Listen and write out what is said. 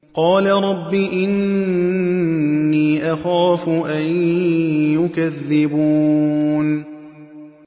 قَالَ رَبِّ إِنِّي أَخَافُ أَن يُكَذِّبُونِ